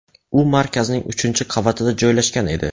U markazning uchinchi qavatida joylashgan edi.